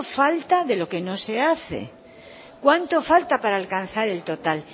falta de lo que no se hace cuánto falta para alcanzar el total